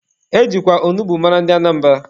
E jikwa onugbu mara ndị Anambra.